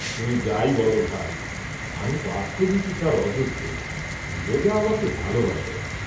তুমি যাই বল ভাই, আমি বাস্তবিকই তার অযোগ্য, নীরজা আমাকে ভালবাসে না।